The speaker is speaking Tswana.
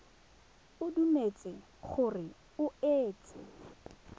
o dumetse gore o itse